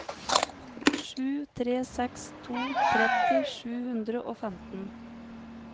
sju tre seks to tretti sju hundre og femten